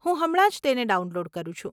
હું હમણાં જ તેને ડાઉનલોડ કરું છું.